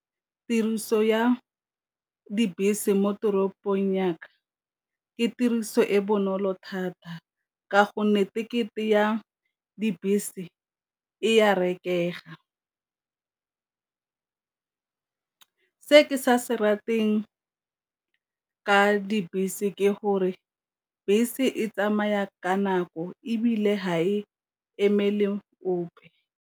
Tiriso ya dibese mo toropong ya ka ke tiriso e bonolo thata, ka gonne tekete ya dibese e ya rekega. Se ke sa se rateng ka dibese ke gore bese e tsamaya ka nako ebile ga e emele ope.